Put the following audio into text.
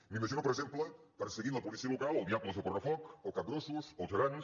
m’imagino per exemple perseguint la policia local els diables del correfoc o capgrossos o els gegants